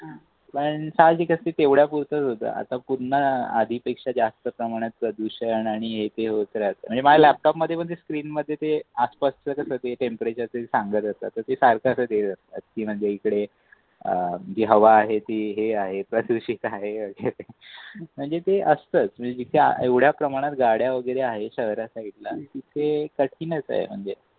अह जी हवा आहे ती हे आहे प्रदूषित आहे म्हणजे ते असतंच म्युझिकच्या एवढ्या प्रमाणात गाड्या वगैरे आहे. शहरा साइड ला ते कठीणच आहे म्हणजे